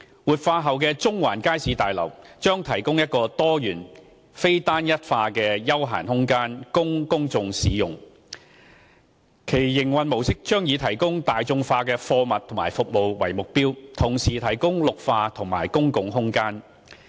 活化後的中環街市大樓將提供一個多元、非單一化的休閒空間供公眾享用，其營運模式將以提供大眾化貨品和服務為目標，同時提供綠化及公共空間。